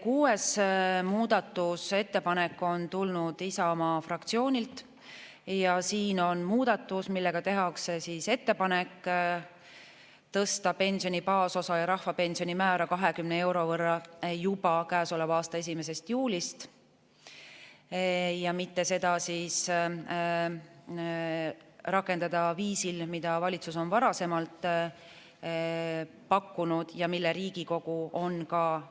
Kuues muudatusettepanek on tulnud Isamaa fraktsioonilt ja see on muudatus, millega tehakse ettepanek tõsta pensioni baasosa ja rahvapensioni määra 20 euro võrra juba käesoleva aasta 1. juulist ning mitte seda rakendada viisil, mida valitsus on varasemalt pakkunud ja mille Riigikogu on